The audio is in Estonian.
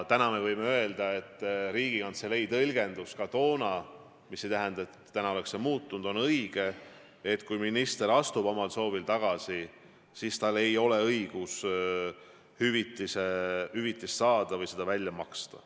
Me võime öelda, et Riigikantselei tõlgendus ka toona – see ei tähenda, et täna oleks see muutunud – oli õige, et kui minister astub omal soovil tagasi, siis tal ei ole õigust hüvitist saada või ei ole õige seda välja maksta.